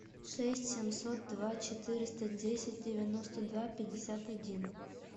шесть семьсот два четыреста десять девяносто два пятьдесят один